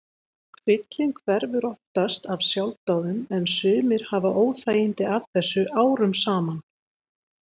Kvillinn hverfur oftast af sjálfsdáðum en sumir hafa óþægindi af þessu árum saman.